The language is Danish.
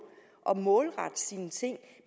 at målrette sine ting